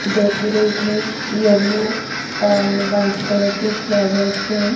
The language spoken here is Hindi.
डेकोरेट है येलो और वाइट कलर के फ्लावर्स से--